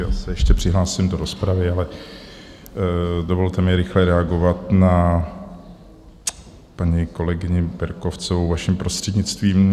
Já se ještě přihlásím do rozpravy, ale dovolte mi rychle reagovat na paní kolegyni Berkovcovou, vaším prostřednictvím.